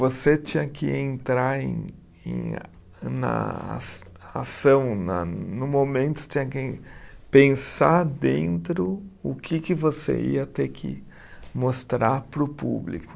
Você tinha que entrar em em a, na as ação, no momento você tinha que pensar dentro o que que você ia ter que mostrar para o público.